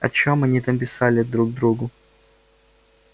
о чем они там писали друг другу